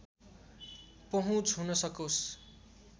पहुँच हुन सकोस्